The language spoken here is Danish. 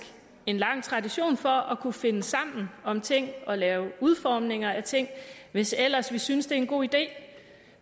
en lang tradition for at kunne finde sammen om ting og lave udformninger af ting hvis ellers vi synes det er en god idé